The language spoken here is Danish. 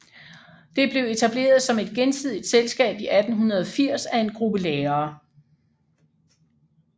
Det blev etableret som et gensidigt selskab i 1880 af en gruppe lærere